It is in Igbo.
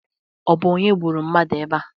Ọ bụ onye gburu mmadụ ebea?